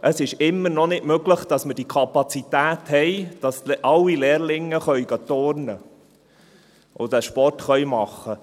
Es ist immer noch nicht möglich, dass wir die Kapazitäten haben, sodass alle Lehrlinge turnen gehen und Sport machen können.